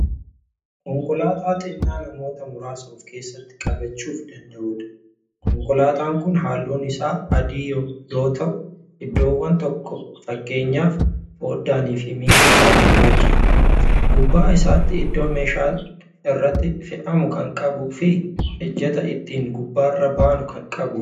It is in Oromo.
Konkolaataa xinnaa namoota muraasa ofkeessatti qabachuuf danda'uudha. konkolaataan Kuni halluun Isaa adii yoo ta'u iddoowwan tokko fakkeenyaaf foddaanifi miilli Isaa gurrachadha. gubbaa isaatti iddaa meeshaan irratti fe'amu Kan qabuufi ijjata ittiin gubbaarra baanu Kan qabuudha.